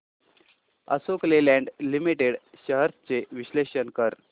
Ashok Leyland Limited shares चे विश्लेषण कर